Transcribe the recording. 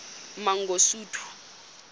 mangosuthu